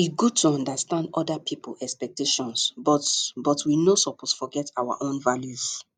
e good to understand oda pipo expectations but but we no suppose forget our own values